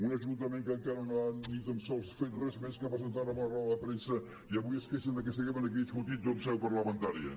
un ajuntament que encara no ha ni tan sols fet res més que presentar una roda de premsa i avui es queixen de que siguem aquí discutint ho en seu parlamentària